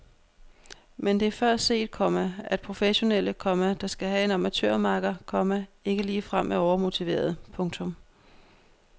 Men det er før set, komma at professionelle, komma der skal have en amatørmakker, komma ikke ligefrem er overmotiverede. punktum